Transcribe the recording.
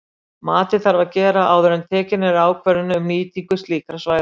Matið þarf að gera áður en tekin er ákvörðun um nýtingu slíkra svæða.